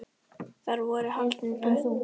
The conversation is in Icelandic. Þar voru haldin böll.